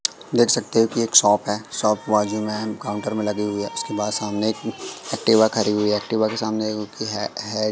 देख सकते हो कि एक शॉप है शॉप बाजू में है काउंटर में लगी हुई है उसके बाद सामने एक्टिवा खड़ी हुई है एक्टिवा के सामने है।